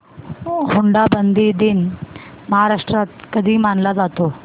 हुंडाबंदी दिन महाराष्ट्रात कधी मानला जातो